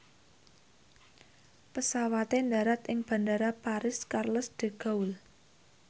pesawate ndharat ing Bandara Paris Charles de Gaulle